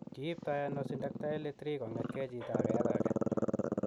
Kiipto ano Syndactyly 3 kong'etke chito age akoi age?